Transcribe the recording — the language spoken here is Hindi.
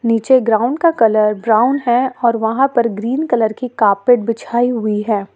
नीचे ग्राउंड का कलर ब्राउन है और वहां पर ग्रीन कलर की कार्पेट बिछाई हुई है।